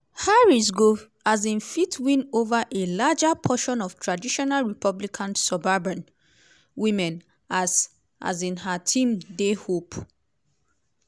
harris go um fit win ova a larger proportion of traditional republican suburban women as um her team dey hope?